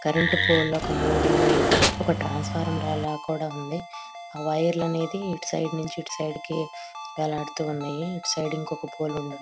Current pole ఒక మూడున్నాయి. ఒక ట్రాన్సఫార్మర్ లా కూడా ఉంది. వైర్లు అనేది ఇటుసైడ్ నుంచి ఇటుసైడ్ కి వేలాడుతూ ఉన్నాయి. ఇటుసైడ్ ఒక ఇంకొక పోల్ ఉంది.